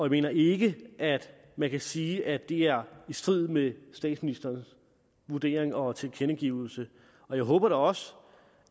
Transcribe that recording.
mener ikke at man kan sige at det er i strid med statsministerens vurdering og tilkendegivelse og jeg håber da også